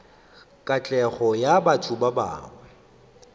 katlego ya batho ba bangwe